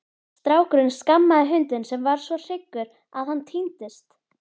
Strákurinn skammaði hundinn sem varð svo hryggur að hann týndist.